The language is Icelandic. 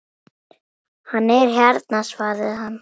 Hann er hérna svaraði hann.